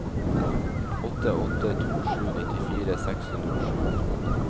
åtte åtte to sju nittifire seks hundre og sju